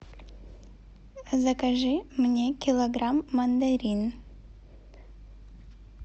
закажи мне килограмм мандарин